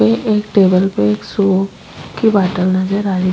ये एक टेबल पे एक सौंफ की बॉटल नजर आ री।